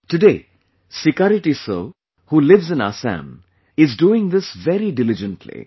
Today, Sikari Tissau, who lives in Assam, is doing this very diligently